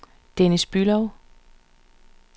Dennis Bülow